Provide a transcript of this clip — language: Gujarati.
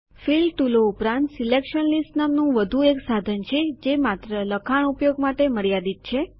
ફિલ ટુલો ઉપરાંત સિલેકશન લીસ્ટ નામનું વધુ એક સાધન છે જે માત્ર લખાણ ઉપયોગ માટે મર્યાદિત છે